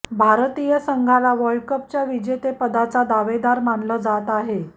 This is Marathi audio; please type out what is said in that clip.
भारतीय संघाला वर्ल्ड कपच्या विजेतेपदाचा दावेदार मानलं जात आहे